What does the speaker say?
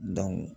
Dɔnku